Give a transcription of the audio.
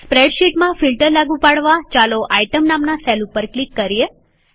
સ્પ્રેડશીટમાં ફિલ્ટર લાગુ પાડવાચાલો આઈટમ નામના સેલ ઉપર ક્લિક કરીએ